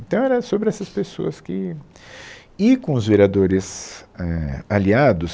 Então era sobre essas pessoas que, e com os vereadores, éh, aliados,